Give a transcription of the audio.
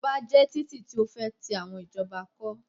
Express ways are wide roads built by the government